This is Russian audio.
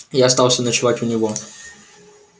я остался ночевать у него